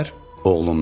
Oğlu ondan soruşdu.